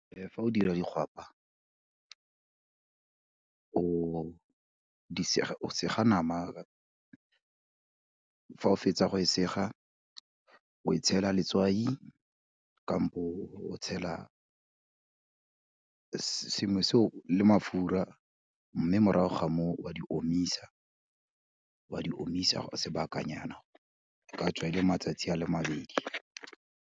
Fa o dira di gwapa, o sega nama fa o fetsa go e sega, o e tshela letswai o tshela sengwe seo le mafura, mme morago ga moo, wa di omisa, o a di omisa sebakanyana, e ka tswa e le matsatsi a le mabedi.